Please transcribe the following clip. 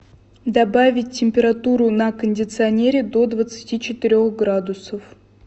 добавить температуру на кондиционере до двадцати четырех градусов